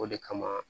O de kama